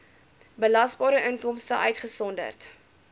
belasbare inkomste uitgesonderd